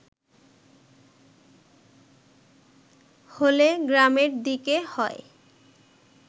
হলে গ্রামের দিকে হয়